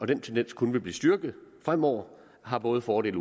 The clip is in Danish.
den tendens kun vil blive styrket fremover har både fordele